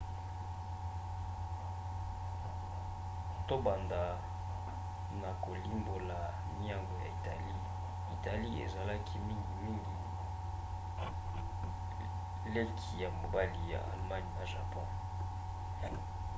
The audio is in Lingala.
tobanda na kolimbola miango ya italie. italie ezalaki mingimingi leki ya mobali ya allemagne na japon